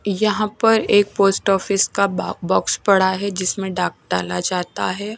यहां पर एक पोस्ट ऑफिस का बा बॉक्स पड़ा है जिसमें डाक डाला जाता है।